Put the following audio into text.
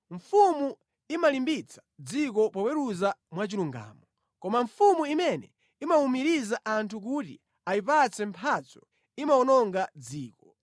Mfumu imalimbitsa dziko poweruza mwachilungamo, koma mfumu imene imawumiriza anthu kuti ayipatse mphatso imawononga dziko.